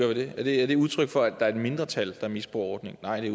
ved det er det udtryk for at der er et mindretal der misbruger ordningen nej det